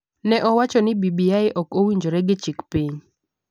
ne owacho ni BBI ok owinjore gi chik piny,